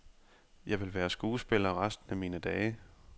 Jeg vil være skuespiller resten af mine dage.